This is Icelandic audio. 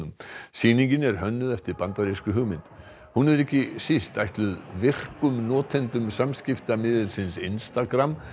sýningin er hönnuð eftir bandarískri hugmynd hún er ekki síst ætluð virkum notendum samskiptamiðilsins Instagram